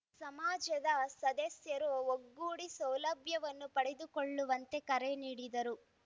ಸಮಾಜದ ಸದಸ್ಯರು ಒಗ್ಗೂಡಿ ಸೌಲಭ್ಯವನ್ನು ಪಡೆದುಕೊಳ್ಳುವಂತೆ ಕರೆ ನೀಡಿದರು